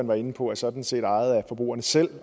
var inde på sådan set ejet af forbrugerne selv